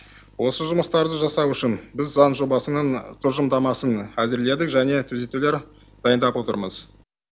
осы жұмыстарды жасау үшін біз заң жобасының тұжырымдамасын әзірледік және түзетулер дайындап отырмыз